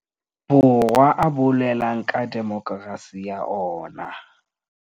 Borwa a boulelang ka demokerasi ya ona.